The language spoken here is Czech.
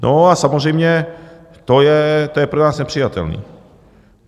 No a samozřejmě to je pro nás nepřijatelné.